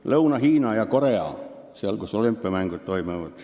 –, elab Lõuna-Hiina ja Korea juures meres ehk seal, kus olümpiamängud toimuvad.